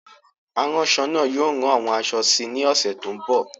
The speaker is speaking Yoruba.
Aránṣọ náà yóò rán àwọn aṣọ síi ní ọ̀sẹ̀ tó ń bọ̀.